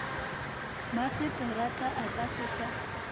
maseterata a ka se sa